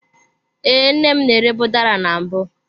Ee, nne m na-erebu udara na mbụ.